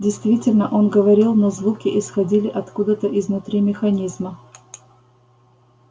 действительно он говорил но звуки исходили откуда-то изнутри механизма